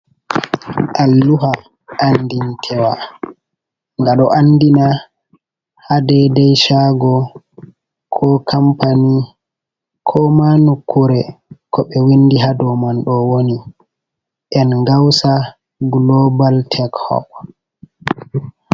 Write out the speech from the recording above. Alluha andintewa nga ɗo andina ha dei dei shago ko kampani ko ma nukkure ko ɓe windi ha dou man ɗo woni engausa global tek hob.